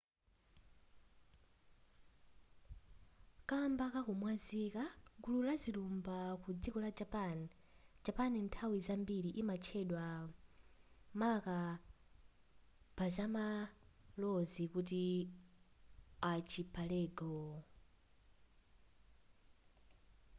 kamba kakumwazika/gulu la zilumba ku dziko la japan japan nthawi zambiri imatchedwa maka pazamalozi kuti archipelago